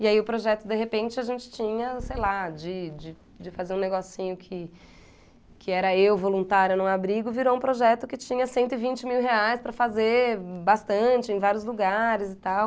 E aí o projeto, de repente, a gente tinha, sei lá, de de de fazer um negocinho que que era eu voluntária num abrigo, virou um projeto que tinha cento e vinte mil reais para fazer bastante, em vários lugares e tal.